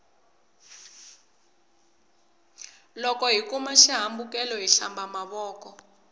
loko hi huma xi hambekelweni hi hlamba mavoko